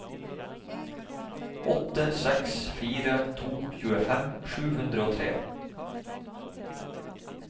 åtte seks fire to tjuefem sju hundre og tre